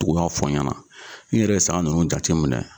tugu i ka fɔ n ɲɛna ne yɛrɛ saga ninnu jate minɛ.